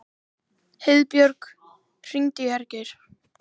Heiðbjörk, hringdu í Hergeir.